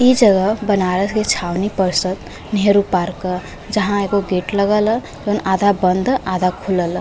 इ जगह बनारस के छावनी परसद नेहरू पार्क ह जहां एगो गेट लगल ह जौन आधा बंद ह आधा खुलल है।